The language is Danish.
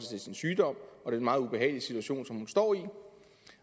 til sin sygdom og den meget ubehagelige situation som hun står i